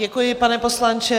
Děkuji, pane poslanče.